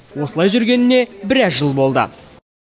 осылай жүргеніне біраз жыл болды